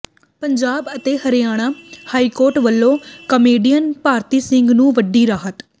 ਪੰਜਾਬ ਅਤੇ ਹਰਿਆਣਾ ਹਾਈਕੋਰਟ ਵੱਲੋਂ ਕਾਮੇਡੀਅਨ ਭਾਰਤੀ ਸਿੰਘ ਨੂੰ ਵੱਡੀ ਰਾਹਤ